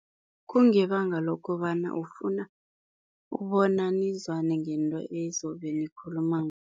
Kungebanga lokobana ufuna ukubona nizwane ngento ezobenikhuluma